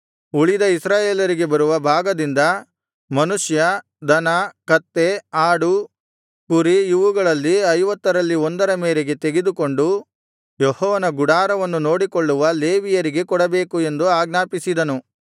ಉಳಿದ ಇಸ್ರಾಯೇಲರಿಗೆ ಬರುವ ಭಾಗದಿಂದ ಮನುಷ್ಯ ದನ ಕತ್ತೆ ಆಡು ಕುರಿ ಇವುಗಳಲ್ಲಿ ಐವತ್ತರಲ್ಲಿ ಒಂದರ ಮೇರೆಗೆ ತೆಗೆದುಕೊಂಡು ಯೆಹೋವನ ಗುಡಾರವನ್ನು ನೋಡಿಕೊಳ್ಳುವ ಲೇವಿಯರಿಗೆ ಕೊಡಬೇಕು ಎಂದು ಆಜ್ಞಾಪಿಸಿದನು